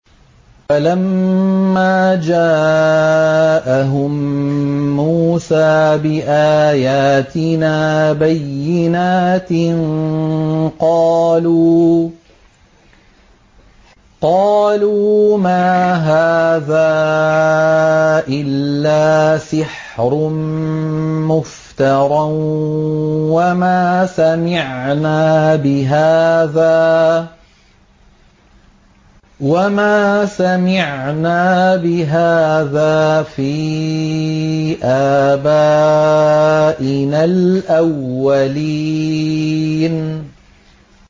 فَلَمَّا جَاءَهُم مُّوسَىٰ بِآيَاتِنَا بَيِّنَاتٍ قَالُوا مَا هَٰذَا إِلَّا سِحْرٌ مُّفْتَرًى وَمَا سَمِعْنَا بِهَٰذَا فِي آبَائِنَا الْأَوَّلِينَ